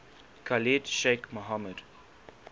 khalid sheikh mohammed